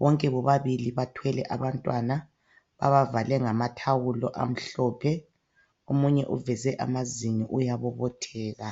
bonke bobabili bathwele abantwana ababavale ngamathawulo amhlophe omunye uveze amazinyo uyabobotheka .